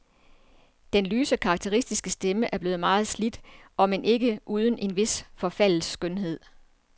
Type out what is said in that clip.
Den lyse, karakteristiske stemme er blevet meget slidt, omend ikke uden en vis forfaldets skønhed.